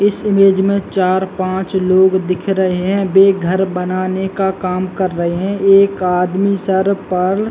इस इमेज मे चार पाँच लोग दिख रहे है वे घर बनाने का काम कर रहे है एक आदमी सर पर--